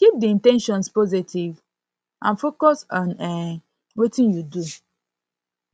keep di in ten tions positive and focus on um wetin you do